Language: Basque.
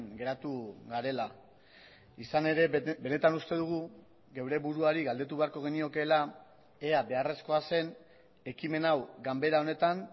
geratu garela izan ere benetan uste dugu geure buruari galdetu beharko geniokeela ea beharrezkoa zen ekimen hau ganbera honetan